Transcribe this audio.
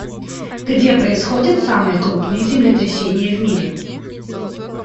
где происходят самые крупные землетрясения в мире